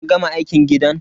Kin gama aikin gidan?